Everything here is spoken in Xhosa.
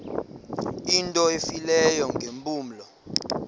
into efileyo ngeempumlo